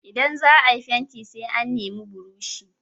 Ida za a yi fenti sai an nemi burushi.